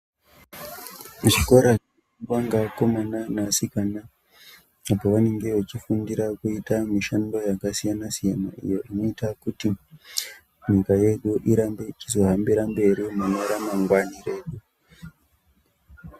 Ichi chikora chinoendwa ngevakomana navasikana, apo vanenge vachifundira kuita mishando yakasiyana-siyana iyo inoita kuti nyika yedu irambe ichizohambira mberi mune ramangwana redu.